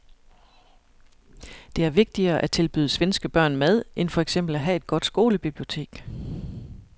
Det er vigtigere at tilbyde svenske børn mad end for eksempel at have et godt skolebibliotek.